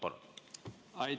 Palun!